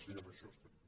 i en això estem